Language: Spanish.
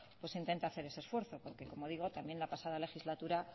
pues intente hacer ese esfuerzo porque como digo también la pasada legislatura